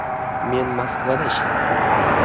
Men Moskvada ishlardim.